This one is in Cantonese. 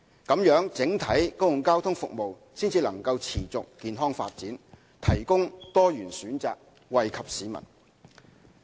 這樣，整體公共交通服務才能持續健康發展，提供多元選擇，惠及市民。